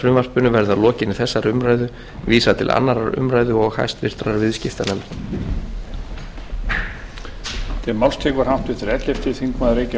frumvarpinu verði að lokinni þessari umræðu vísað til annarrar umræðu og háttvirtur viðskiptanefndar lauk á fyrri